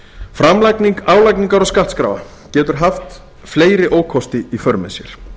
framlagning álagningar og skattskráa getur haft fleiri ókosti í för með sér